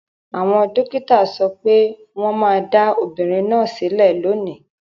Àwọn dókítà sọ pé wọ́n máa dá obìnrin náà sílẹ̀ lónìí.